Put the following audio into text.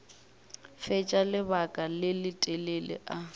fetša lebaka le letelele a